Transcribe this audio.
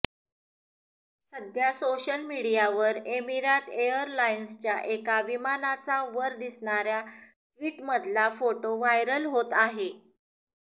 सध्या सोशल मीडियावर एमिरात एअरलाइन्सच्या एका विमानाचा वर दिसणाऱ्या ट्विटमधला फोटो व्हायरल होत आहे